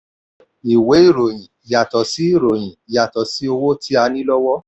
ìwé ìròyìn: yàtọ̀ sí ìròyìn: yàtọ̀ sí owó tí a ní lọ́wọ́.